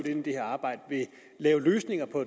ind i det her arbejde ved at lave løsninger på